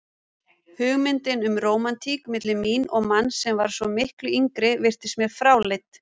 Hugmyndin um rómantík milli mín og manns sem var svo miklu yngri virtist mér fráleit.